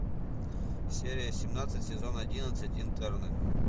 серия семнадцать сезон одиннадцать интерны